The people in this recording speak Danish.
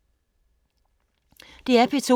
DR P2